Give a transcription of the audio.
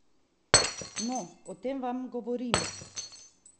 No, o tem vam govorim!